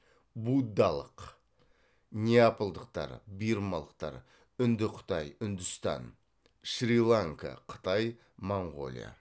буддалық неапалдықтар бирмалықтар үндіқытай үндістан шри ланка қытай моңғолия